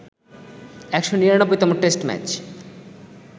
১৯৯তম test match